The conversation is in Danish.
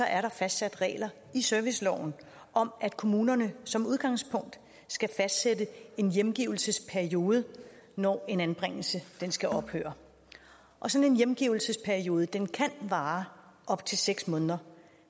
er der fastsat regler i serviceloven om at kommunerne som udgangspunkt skal fastsætte en hjemgivelsesperiode når en anbringelse skal ophøre og sådan en hjemgivelsesperiode kan vare op til seks måneder